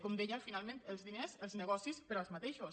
com deia finalment els diners els negocis per als mateixos